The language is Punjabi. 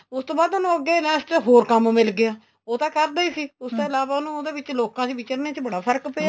ਉਸ ਤੋਂ ਬਾਅਦ ਉਹਨੂੰ ਅੱਗੇ ਨਾ ਇਸ ਚ ਹੋਰ ਕੰਮ ਮਿਲ ਗਿਆ ਉਹ ਤਾਂ ਕਰਦਾ ਈ ਸੀ ਉਸ ਤੋਂ ਇਲਾਵਾ ਉਨੂੰ ਉਦੇ ਵਿੱਚ ਲੋਕਾ ਦੇ ਵਿਚਰਨੇ ਚ ਬੜਾ ਫ਼ਰਕ ਪਿਆ